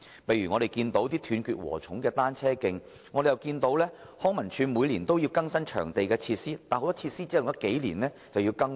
例如一些"斷截禾蟲"般的單車徑，而康樂及文化事務署每年更新場地設施，但很多設施只用了數年又再次更換。